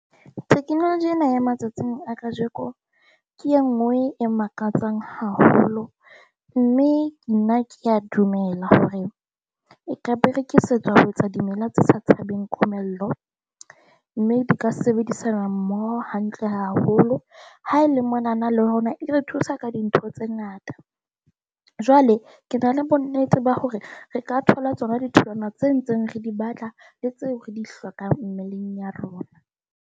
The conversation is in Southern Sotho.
Technology ena ya matsatsing a kajeko ke e nngwe e makatsang haholo, mme nna ke a dumela hore e ka berekisetswa ho etsa dimela tse sa tshabeng komello, mme di ka sebedisana mmoho hantle haholo. Ha e le monana le rona e re thusa ka dintho tse ngata. Jwale ke na le bonnete ba hore re ka thola tsona ditholwana tse ntseng re di batla le tseo re di hlokang mmeleng ya rona.